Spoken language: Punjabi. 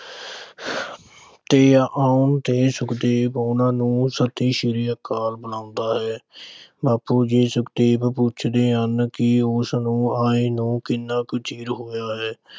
ਦੇ ਆਉਣ ਤੇ ਸੁਖਦੇਵ ਉਨ੍ਹਾਂ ਨੂੰ ਸਤਿ ਸ੍ਰੀ ਅਕਾਲ ਬੁਲਾਉਂਦਾ ਹੈ। ਬਾਪੂ ਜੀ ਸੁਖਦੇਵ ਨੂੰ ਪੁੱਛਦੇ ਹਨ ਕਿ ਉਸ ਨੂੰ ਆਏ ਨੂੰ ਕਿੰਨਾ ਕੁ ਚਿਰ ਹੋਇਆ ਹੈ?